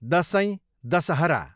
Dashain, Dussehra